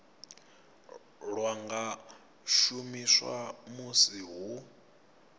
lwa nga shumiswa musi hu